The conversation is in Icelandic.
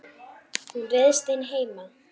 Hún ryðst inn heima.